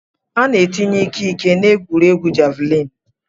Ana etinye ike-ike na egwuregwu javlin.